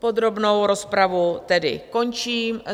Podrobnou rozpravu tedy končím.